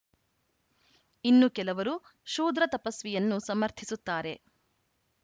ಇನ್ನು ಕೆಲವರು ಶೂದ್ರತಪಸ್ವಿಯನ್ನು ಸಮರ್ಥಿಸುತ್ತಾರೆ